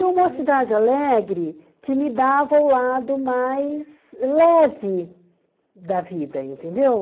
E o Mocidade Alegre que me dava o lado mais leve da vida, entendeu?